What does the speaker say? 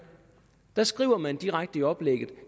der skriver man direkte i oplægget at